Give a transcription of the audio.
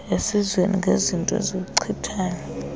esizweni ngeezinto eziwuchithayo